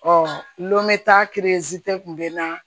lome ta kun bɛ na